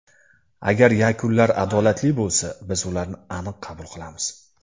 Agar yakunlar adolatli bo‘lsa, biz ularni aniq qabul qilamiz.